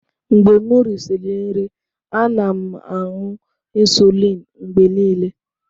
Mgbe m risịrị nri, ana m aṅụ insulin mgbe niile.